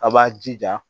A' b'a jija